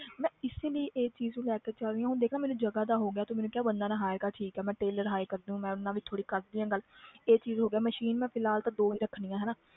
ਮੈਂ ਇਸੇ ਲਈ ਇਹ ਚੀਜ਼ ਨੂੰ ਲੈ ਕੇ ਚੱਲ ਰਹੀ ਹਾਂ ਹੁਣ ਦੇਖ ਨਾ ਮੈਨੂੰ ਜਗ੍ਹਾ ਦਾ ਹੋ ਗਿਆ ਤੂੰ ਮੈਨੂੰ ਕਿਹਾ ਬੰਦਾ ਨਾ hire ਕਰ ਠੀਕ ਹੈ ਮੈਂ tailor hire ਕਰ ਦਊਂ, ਮੈਂ ਉਹਦੇ ਨਾਲ ਵੀ ਥੋੜ੍ਹੀ ਕਰਦੀ ਹਾਂ ਗੱਲ ਇਹ ਚੀਜ਼ ਹੋ ਗਿਆ machine ਮੈਂ ਫਿਲਹਾਲ ਤਾਂ ਦੋ ਹੀ ਰੱਖਣੀਆਂ ਹਨਾ